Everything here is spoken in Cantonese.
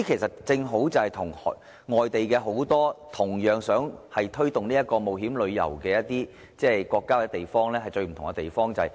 這正是與很多同樣想推動冒險旅遊的國家或地區的最大分別。